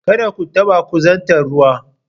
Kada ku taɓa kusantar ruwa.